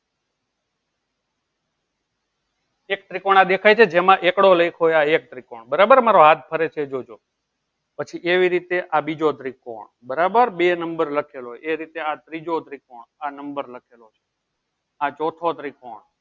એક ત્રિકોણ દેખાય છે જેમાં એકડો લખ્યો આ એક ત્રિકોણ બરાબર મારો હાથ ફરે છે એ જોજો પછી એવી રીતે આ બીજો ત્રિકોણ બરાબર બે number લખેલો જોય એ રીતે આ બીજો ત્રિકોણ આ number આ ચૌથો ત્રિકોણ